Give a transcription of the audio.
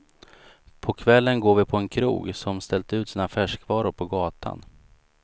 På kvällen går vi på en krog som ställt ut sina färskvaror på gatan.